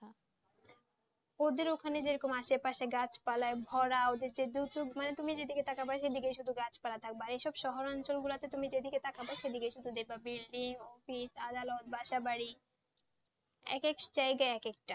ওদের ওখানে যেমন আশেপাশে গাছপালায় ভরা মানে তুমি যেদিকে তাকাবে সেদিকেই শুধু গাছপালা থাকবেআর এইসব শহর অঞ্চলগুলোতে তুমি যেদিকে তাকাবে সেদিকেই শুধু দেখবে building office adalat বাসাবাড়িএক একটা জায়গায় এক এক একটা,